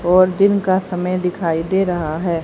और दिन का समय दिखाई दे रहा है।